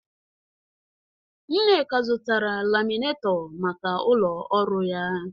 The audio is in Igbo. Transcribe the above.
Nneka zụtara laminetọ maka ụlọ ọrụ ya.